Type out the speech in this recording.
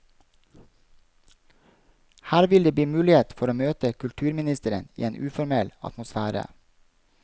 Her vil det bli mulighet for å møte kulturministeren i en uformell atmosfære.